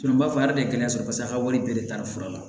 n b'a fɔ a de kɛlen paseke a ka wari bɛɛ de taara fura la